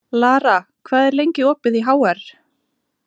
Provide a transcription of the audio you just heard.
Lara, hvað er lengi opið í HR?